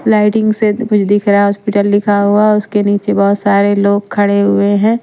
Lighting से कुछ दिख रहा है हॉस्पिटल लिखा हुआ है उसके नीचे बहुत सारे लोग खड़े हुए हैं।